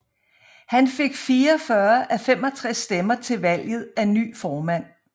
Han fik 44 af 65 stemmer til valget af ny formand